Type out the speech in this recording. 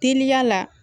Teliya la